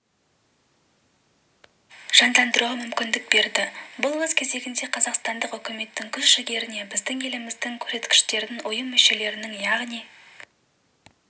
жандандыруға мүмкіндік берді бұл өз кезегінде қазақстандық үкіметтің күш-жігеріне біздің еліміздің көрсеткіштерін ұйым мүшелерінің яғни